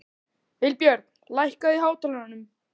Vilbjörn, lækkaðu í hátalaranum.